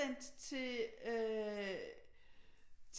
Sendt til øh